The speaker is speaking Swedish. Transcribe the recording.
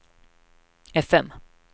fm